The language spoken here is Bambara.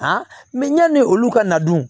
yanni olu ka na dun